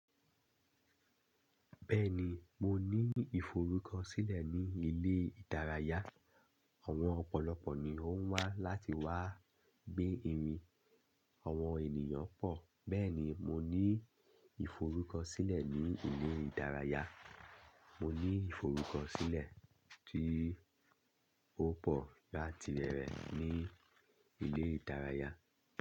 Bẹ́ẹ̀ni, mo ní ìforúkọ sílẹ̀ ní ilé ìdárayá. Àwọn ọ̀pọ̀lọpọ̀ ni ó ń wá láti wá gbé mi. Àwọn ènìyàn pọ̀, bẹ́ẹ̀ ni mo ní ìforúkọ sílẹ̀ ní ilé ìdárayá. Mo ní ìforúkọ sílẹ̀ tí ó pọ̀ láti bẹ̀rẹ̀ ní ilé ìdárayá.